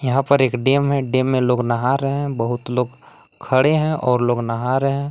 यहां पर एक डैम है डैम में लोग नहा रहे हैं बहुत लोग खड़े हैं और लोग नहा रहे हैं।